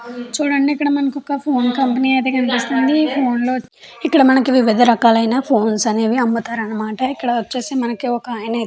చుడండి ఇక్క్కడ మనకి ఒక ఫోన్ కంపెనీ అయతె కనిపిస్తుంది. ఫోన్ ఇక్క్కడ మనకి ఒక వివిధ రక్కల ఫోన్ ల్లు అయతె కనిపిస్తున్నాయి. ఇక్కడ వచేసి మనకి ఒక ఆయన అయతె --